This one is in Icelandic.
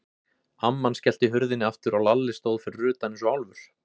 Amman skellti hurðinni aftur og Lalli stóð fyrir utan eins og álfur.